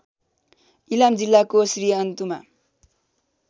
इलाम जिल्लाको श्रीअन्तुमा